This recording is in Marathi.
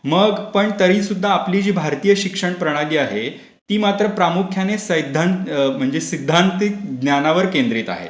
मग पण तरीसुद्धा आपली जी भारतीय शिक्षण प्रणाली आहे ती मात्र प्रामुख्याने सैद्धांतिक ज्ञानावर केन्द्रित आहे.